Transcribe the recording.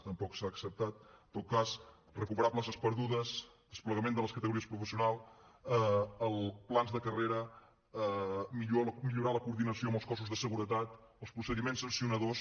tampoc s’ha acceptat en tot cas recuperar places perdudes desplegament de les categories professionals plans de carrera millorar la coordinació amb els cossos de seguretat els procediments sancionadors